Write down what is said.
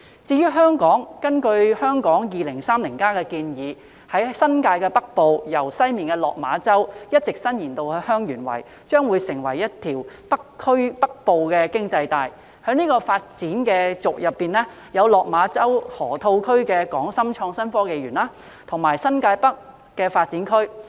至於香港，根據《香港 2030+： 跨越2030年的規劃遠景與策略》建議，在新界北部，由西面的落馬洲一直伸延至香園圍，將成為一條"北部經濟帶"，在這發展軸上，有落馬洲河套區的港深創新及科技園，以及新界北新發展區。